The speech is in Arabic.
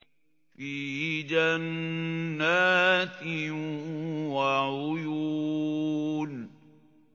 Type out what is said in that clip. فِي جَنَّاتٍ وَعُيُونٍ